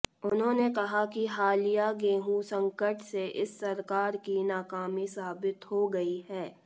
उन्होंने कहा कि हालिया गेंहू संकट से इस सरकार की नाकामी साबित हो गई है